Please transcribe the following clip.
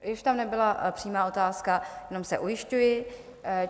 Již tam nebyla přímá otázka, jenom se ujišťuji.